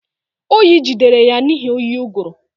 Oyi jidere ya n'ihi oyi ụgụrụ